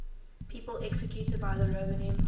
people executed by the roman empire